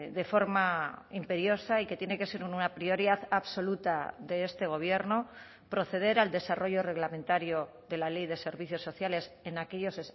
de forma imperiosa y que tiene que ser una prioridad absoluta de este gobierno proceder al desarrollo reglamentario de la ley de servicios sociales en aquellos